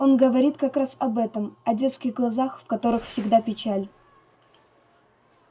он говорит как раз об этом о детских глазах в которых всегда печаль